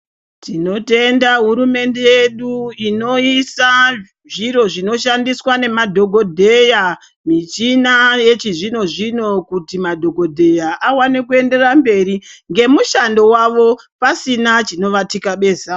Tinotenda hurumende yedu inoisa zviro zvinoshandiswa nemadhogodheya. Michina yechizvino-zvino kuti madhogodheya awane kuenderera mberi ngemushando wavo pasina chinovatyabeza.